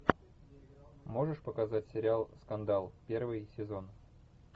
можешь показать сериал скандал первый сезон